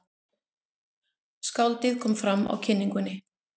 Skáldið kom fram á kynningunni.